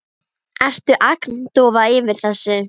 Ertu agndofa yfir þessu?